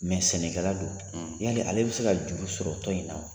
Mɛ sɛnɛkɛla don, ,yali ale bɛ se ka juru sɔrɔ tɔn in na wa?